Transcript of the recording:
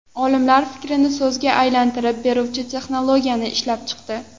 Olimlar fikrni so‘zga aylantirib beruvchi texnologiyani ishlab chiqdi.